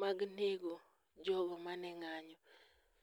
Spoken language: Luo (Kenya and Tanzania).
mag nego jogo mane ng'anyo.